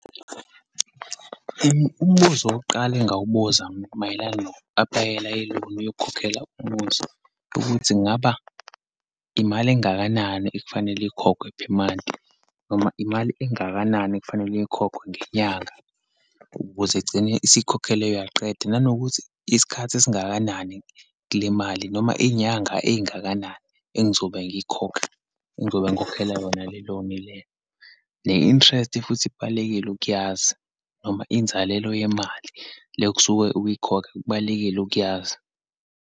Umbuzo wokuqala engingawubuza mayelana noku aplayela i-loan yokukhokhela umuzi, ukuthi kungaba imali engakanani ekufanele ikhokhwe per month, noma imali engakanani ekufanele ikhokhwe ngenyanga ukuze egcine isikhokhelwe yaqedwa, nanokuthi isikhathi esingakanani kulimali, noma iyinyanga eyingakanani engizobe ngiyikhokha, ingizobe ngikhokhela yona le loan le, ne-interest futhi kubalulekile ukuyazi, noma inzalelo yemali le okusuke ukuyikhokha, kubalulekile ukuyazi.